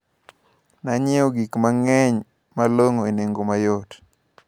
Nanyiewo gikmang`eny malong`o e nengo mayot.